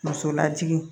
Muso lajigi